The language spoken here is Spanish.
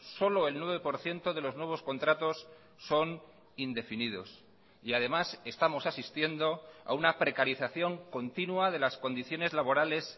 solo el nueve por ciento de los nuevos contratos son indefinidos y además estamos asistiendo a una precarización continua de las condiciones laborales